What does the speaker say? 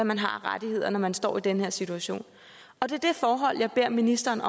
man har af rettigheder når man står i den her situation og det er det forhold jeg beder ministeren